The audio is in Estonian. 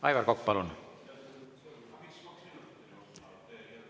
Aivar Kokk, palun!